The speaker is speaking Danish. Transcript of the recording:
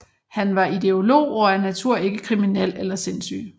Han var ideolog og af natur ikke kriminel og ikke sindssyg